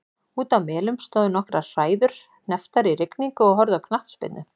Úti á Melum stóðu nokkrar hræður hnepptar í rigningu og horfðu á knattspyrnu.